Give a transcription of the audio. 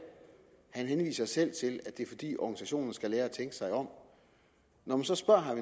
han henviser selv til at det er fordi organisationerne skal lære at tænke sig om når man så spørger herre